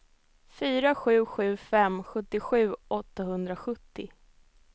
fyra sju sju fem sjuttiosju åttahundrasjuttio